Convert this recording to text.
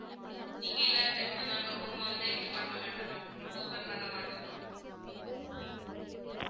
நீங்க இல்லாத time ல நாங்க room வந்து இது பண்ண மாட்டோம் ma'am open பண்ண மாட்டோம்